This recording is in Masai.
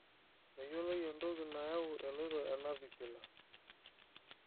meyioloi entoki nayau eloito le navicular